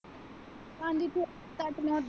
ਬਸ ਆਦੀ ਸੀ ਸੱਚ ਮੈਂ।